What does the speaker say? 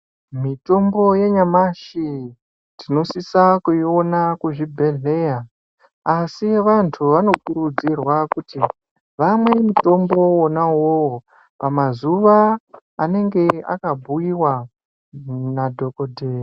Mitombo yanyamashi, tinosisa kuiona kuzvibhedhleya, asi vantu vanokurudzirwa kuti vamwe mutombo wona uwowo ,pamazuva anenge akabhuiwa nadhokoteya.